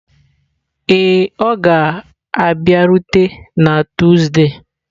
Ee, ọ ga-abịarute na Tuzdee.